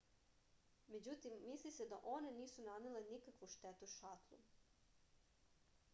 međutim misli se da one nisu nanele nikakvu štetu šatlu